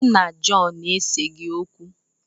Mụ na Jọn eseghị okwu.